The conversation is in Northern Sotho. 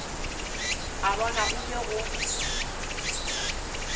a bona go be go